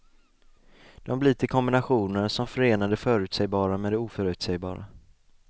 De blir till kombinationer, som förenar det förutsägbara med det oförutsägbara.